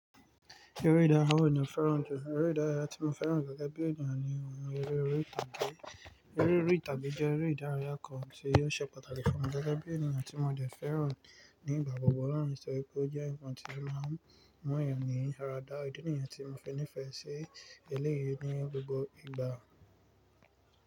Eré ìdárayá wo ni o fẹ́ràn jù? Eré ìdárayá tí mo fẹ́ràn jù gẹ́gẹ́ bí ènìyàn ni eré orí ìtàgé. Eré orí ìtàgé jẹ́ eré ìdárayá kan tí o ṣẹ́ pàtàkì fún mi gẹ́gẹ́ bí ènìyàn tí mo dẹ̀ fẹ́ràn ní ìgbà gbogbo nítorí pé ó jẹ́ nǹkan tí màá ń mu'yàn ní àrà dà ìdí nìyẹn tí mo fi nífẹ̀ẹ́ sí eléyìí ní gbogbo ìgbà.